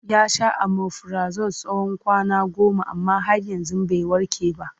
Ya sha omifirazol tsawon kwana goma amma har yanzu bai warke ba.